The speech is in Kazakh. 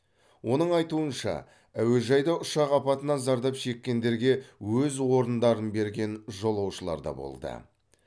оның айтуынша әуежайда ұшақ апатынан зардап шеккендерге өз орындарын берген жолаушылар да болды